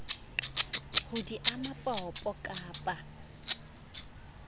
ha di ame popo kappa